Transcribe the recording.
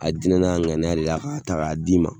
A diinɛ n'a ŋaniya de la k'a ta k'a d'i ma